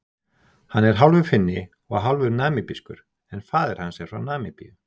Hann er hálfur Finni og hálfur Namibískur en faðir hans er frá Namibíu.